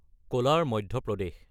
কলাৰ (Madhya প্ৰদেশ)